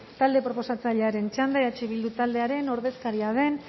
talde proposatzailearen txanda eh bildu taldearen ordezkaria den